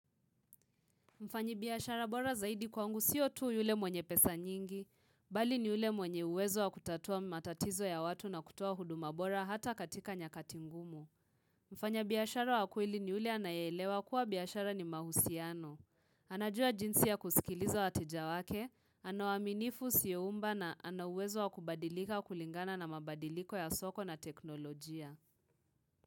Mfanyi biashara bora zaidi kwangu siyo tuu yule mwenye pesa nyingi, bali ni ule mwenye uwezo wa kutatua matatizo ya watu na kutua huduma bora hata katika nyakatingumu. Mfanyi biashara wa kweili ni ule anayelewa kuwa biashara ni mahusiano. Anajua jinsi ya kusikilizo watejawake, anawaminifu siyo umba na anauwezo wa kubadilika wa kulingana na mabadiliko ya soko na teknolojia.